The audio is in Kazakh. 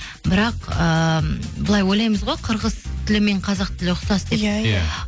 бірақ ыыы былай ойлаймыз ғой қырғыз тілі мен қазақ тілі ұқсас деп иә иә